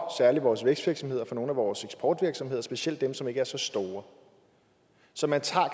særlig vores vækstvirksomheder for nogle af vores eksportvirksomheder specielt dem som ikke er så store så man tager